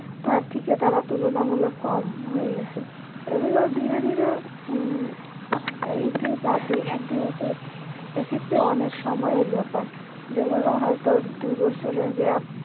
তার থেকে তারা তুলনামূলক কম হয়ে গেছে এগুলো ধীরে ধীরে এক্ষেত্রে অনেক সময়ের ব্যাপার যেগুলো হয়ত দু বছরের gap